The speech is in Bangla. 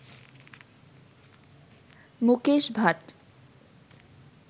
মুকেশ ভাট